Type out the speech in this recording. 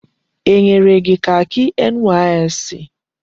E nyere gị kakị NYSC?